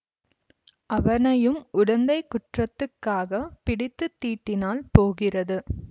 அவனையும் உடந்தைக் குற்றத்துக்காகப் பிடித்து தீட்டினால் போகிறது